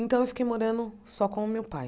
Então, eu fiquei morando só com o meu pai.